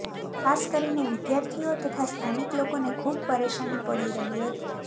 ખાસ કરીને વિધાર્થીઓ તથા સ્થાનિક લોકોને ખૂબ પરેશાની પડી રહી હતી